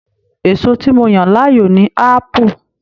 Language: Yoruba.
Èso tí mo yan láàyò ni apu.